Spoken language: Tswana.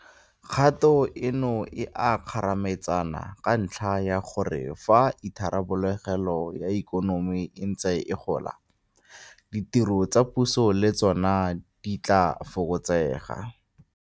Kgato eno e a kgarametsana ka ntlha ya gore fa itharabologelo ya ikonomi e ntse e gola, ditiro tsa puso le tsona di tla fokotsega.